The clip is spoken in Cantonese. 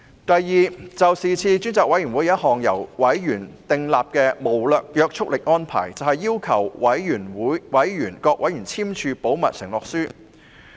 第二，專責委員會亦曾訂立一項無約束力安排，要求各委員簽署保密承諾書。